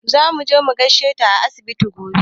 Za muje mu gaishe ta a asibiti gobe.